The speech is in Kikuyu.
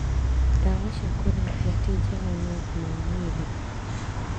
Ndawa cia kũrebia tingega na ũgima wa mwĩrĩ